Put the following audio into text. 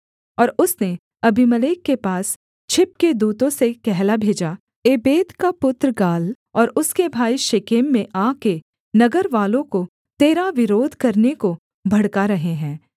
और उसने अबीमेलेक के पास छिपके दूतों से कहला भेजा एबेद का पुत्र गाल और उसके भाई शेकेम में आ के नगरवालों को तेरा विरोध करने को भड़का रहे हैं